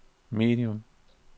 medium